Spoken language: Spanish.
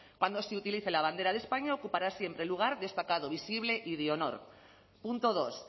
cuando se utilice la bandera de españa ocupará siempre un lugar destacado visible y de honor punto dos